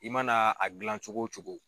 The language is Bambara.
I mana a gilan cogo cogo.